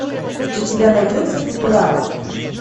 у тебя найдется футурама